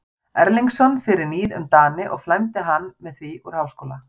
Erlingsson fyrir níð um Dani og flæmdi hann með því úr háskóla.